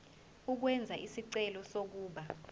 ukwenza isicelo sokuba